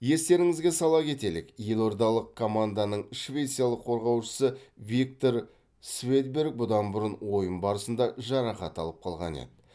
естеріңізге сала кетелік елордалық команданың швециялық қорғаушысы виктор сведберг бұдан бұрын ойын барысында жарақат алып қалған еді